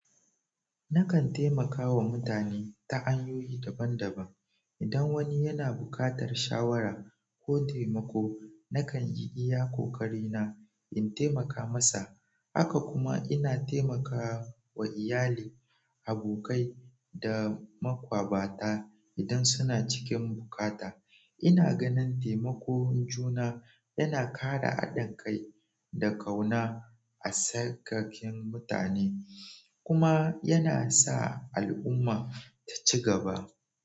Nakan taimakawa mutane ta hanyoyi daban-daban. Idan wani yana buƙatar shawara ko taimako, nakan yi iya ƙoƙari na in taimaka masa. Haka kuma ina taimakawa iyali, abokai, da maƙwabta idan suna cikin buƙata. Ina ganin taimakon juna yana ƙara haɗin kai da ƙauna a tsakanin mutane kuma yana sa al'umma ta ci gaba.